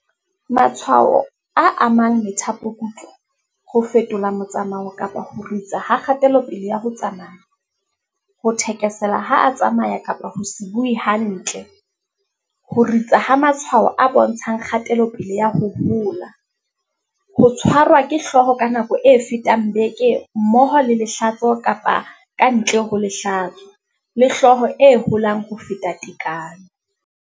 Matshwao a amang methapokutlo, ho fetola motsamao kapa ho ritsa ha kgatelopele ya ho tsamaya, ho thekesela ha a tsamaya kapa ho se bue hantle, ho ritsa ha matshwao a bontshang kgatelopele ya ho hola, ho tshwarwa ke hlooho ka nako e fetang beke mmoho le lehlatso kapa ka ntle ho lehlatso, le hlooho e holang ho feta tekano.